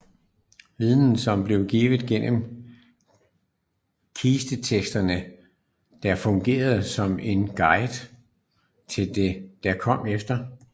Viden som blev givet gennem kisteteksterne der fungerede som en guide til det der kom efter